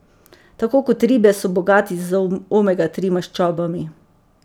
Tako kot ribe so bogati z omega tri maščobami.